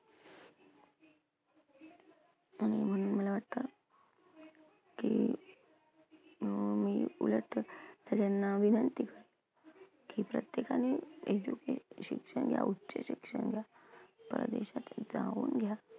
आणि म्हणून मला वाटतं, की अं मी उलट विनंती की प्रत्येकाने education घ्या, उच्च शिक्षण घ्या, परदेशात जाऊन घ्या.